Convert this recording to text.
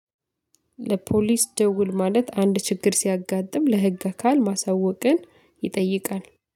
ለፖሊስ ደውል ማለት አንድ ችግር ሲያጋጥም ለህግ አካል ማሳወቅን ይጠይቃል